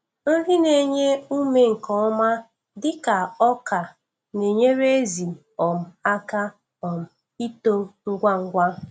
Nri na-enye ume nke ọma dịka ọka na-enyere ezi um aka um ito ngwa ngwa.